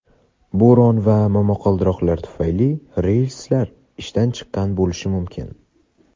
bo‘ron va momaqaldiroq tufayli relslar ishdan chiqqan bo‘lishi mumkin.